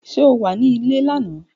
Ṣe o wa ni ìle-ìwe lana?